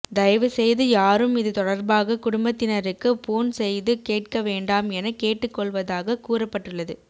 தயவு செய்து யாரும் இது தொடர்பாக குடும்பத்தினருக்கு போன் செய்து கேட்க வேண்டாம் என கேட்டு கொள்வதாக கூறப்பட்டுள்ளது